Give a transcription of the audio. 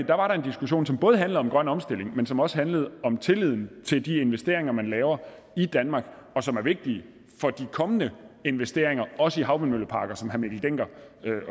der var en diskussion som både handlede om grøn omstilling men som også handlede om tilliden til de investeringer man laver i danmark og som er vigtige for de kommende investeringer også i havvindmølleparker som herre mikkel dencker